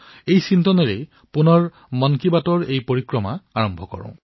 এই ভাৱনাৰ সৈতে আহক আমি মন কী বাতৰ গতি আগবঢ়াই নিও